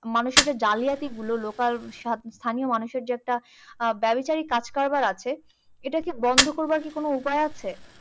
মানুষের যে জালিয়াতি গুলো local স্থানীয় মানুষের যে একটা ব্যভিচারী কাজকারবার আছে, এটা কি বন্ধ করবার কি কোনো উপায় আছে?